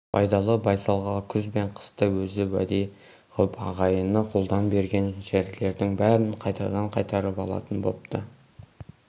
байдалы байсалға күз бен қыста өзі уәде ғып ағайыны қолдан берген жерлердің бәрін қайтадан қайтарып алатын бопты